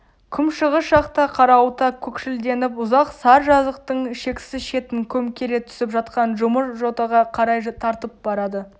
күншығыс жақта қарауыта көкшілденіп ұзақ сар жазықтың шексіз шетін көмкере түсіп жатқан жұмыр жотаға қарай тартып барады